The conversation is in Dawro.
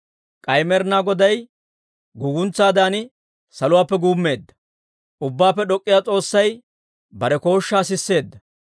«K'ay Med'inaa Goday guguntsaadan saluwaappe guummeedda. Ubbaappe D'ok'k'iyaa S'oossay bare kooshshaa sisseedda.